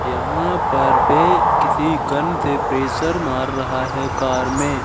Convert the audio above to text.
यहां पर बे किसी गन से प्रेशर मार रहा है कार में--